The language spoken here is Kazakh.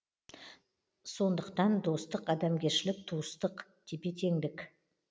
сонықтан достық адамгершілік туыстық тепе теңдік